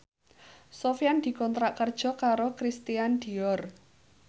Sofyan dikontrak kerja karo Christian Dior